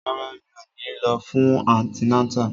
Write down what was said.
Rárá, mi ò ní lọ fún antinátà